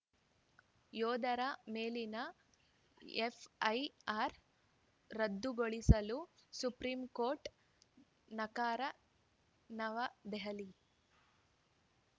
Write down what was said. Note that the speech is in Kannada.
ಯೋಧರ ಮೇಲಿನ ಎಫ್‌ಐಆರ್‌ ರದ್ದುಗೊಳಿಸಲು ಸುಪ್ರೀಂ ನಕಾರ ನವದೆಹಲಿ